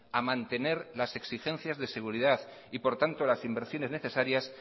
a mantener las exigencias de seguridad y por tanto las inversiones necesarias